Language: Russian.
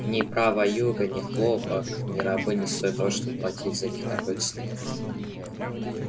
ни права юга ни хлопок ни рабы не стоят того чтобы платить за них такой ценой